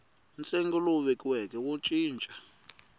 ntsengo lowu vekiweke wo cinca